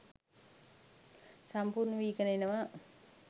සම්පූර්ණ වේගෙන එනවා.